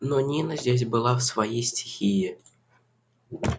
но нина здесь была в своей стихии